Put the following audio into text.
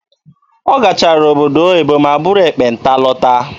Ọ gachara obodo oyibo ma buru ekpenta lọta.